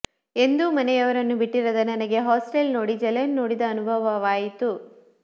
ಎಂದೂ ಮನೆಯವರನ್ನು ಬಿಟ್ಟಿರದ ನನಗೆ ಹಾಸ್ಟೆಲ್ ನೋಡಿ ಜೈಲನ್ನು ನೋಡಿದ ಅನುಭವವಾಯಿತು